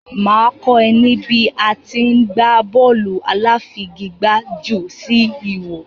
Mà á kọ́ ẹ ní bí à á ti í gbá bọ́ọ̀lù aláfigigbá jù sí ihò.